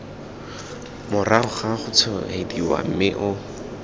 morago ga gotshwaediwa mme o